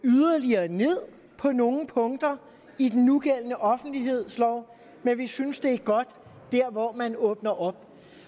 yderligere ned på nogle punkter i den nugældende offentlighedslov men vi synes det er godt der hvor man åbner op